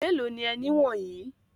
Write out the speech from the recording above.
Mélòó ni ẹni wọ̀nyí?